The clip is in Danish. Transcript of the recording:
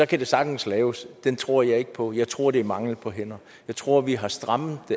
kan det sagtens laves den tror jeg ikke på jeg tror at det er mangel på hænder jeg tror at vi har strammet det